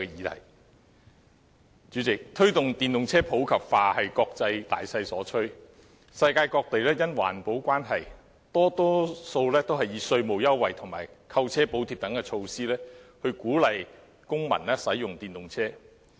代理主席，推動電動車普及化是國際大勢所趨，世界各地因環保關係，多以稅務優惠和購車補貼等措施鼓勵公民使用電動車。